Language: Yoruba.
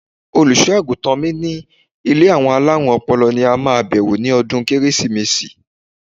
Olùṣọ́-àgùntàn mi ní ilé àwọn alárùn ọpọlọ ni a máa bewo ní ọdún Kérésìmesì.